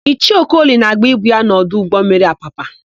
Ichie Okoli na-agba ibu ya n'ọdụ ụgbọmmiri Apapa.